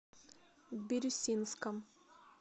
бирюсинском